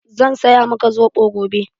Zan saya maka zobo gobe.